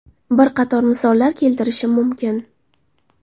Bir qator misollar keltirishim mumkin.